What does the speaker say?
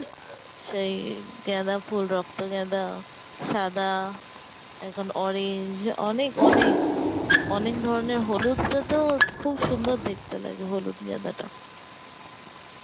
সেই গাঁদা ফুল, রক্ত গাঁদা, সাদা, এখন orange অনেক অনেক অনেক ধরনের হলুদটা তো খুব সুন্দর দেখতে লাগে হলুদ গাঁদা টা